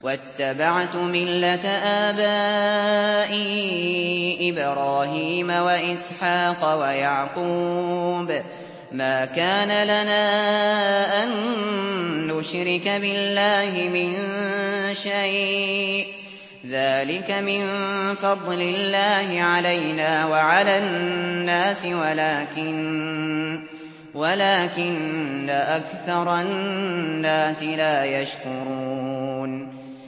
وَاتَّبَعْتُ مِلَّةَ آبَائِي إِبْرَاهِيمَ وَإِسْحَاقَ وَيَعْقُوبَ ۚ مَا كَانَ لَنَا أَن نُّشْرِكَ بِاللَّهِ مِن شَيْءٍ ۚ ذَٰلِكَ مِن فَضْلِ اللَّهِ عَلَيْنَا وَعَلَى النَّاسِ وَلَٰكِنَّ أَكْثَرَ النَّاسِ لَا يَشْكُرُونَ